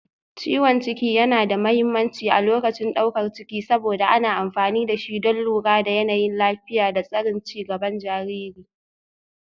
Ciwon ciki yana da mahimmanci a lokacin daukar ciki saboda ana amfani da shi don lura da yanayin lafiya da tsarin ci gaban jariri